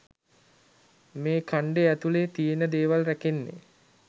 මේ ඛන්ඩය ඇතුලේ තියෙන දේවල් රැකෙන්නේ